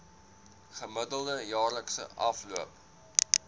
gemiddelde jaarlikse afloop